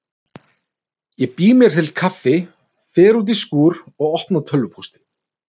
Ég bý mér til kaffi, fer út í skúr og opna tölvupóstinn.